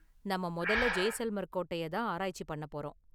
நாம முதல்ல ஜெய்சல்மர் கோட்டையை தான் ஆராய்ச்சி பண்ண போறோம்.